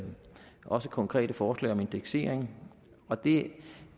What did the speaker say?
også konkrete forslag om indeksering og det